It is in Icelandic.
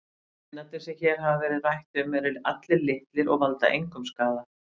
Steinarnir sem hér hefur verið rætt um eru allir litlir og valda engum skaða.